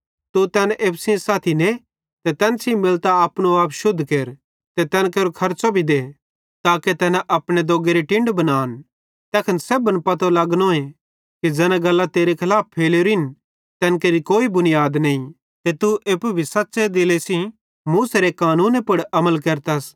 तू तैन एप्पू सेइं साथी ने ते तैन सेइं मिलतां अपनो आप शुद्ध केर ते तैन केरो खर्च़ो भी दे ताके तैना अपनो दोग्गेरी टिंड बनान तैखन सेब्भन पतो लगनोए कि ज़ैना गल्लां तेरे खलाफ फैलेवरिन तैन केरि कोई बुनीयाद नईं ते तू एप्पू भी सच़्च़े दिले सेइं मूसेरे कानूने पुड़ अमल केरतस